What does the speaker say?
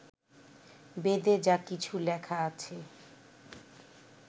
বেদে যা কিছু লেখা আছে